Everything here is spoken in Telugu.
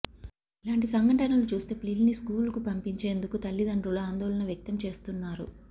ఇలాంటి సంఘటనలు చూస్తే ప్లిల్ని స్కూల్క్కు పంపించేందుకు తల్లిదండ్రులు ఆందోళన వ్యక్తం చేస్తున్నారు